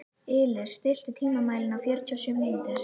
Ylur, stilltu tímamælinn á fjörutíu og sjö mínútur.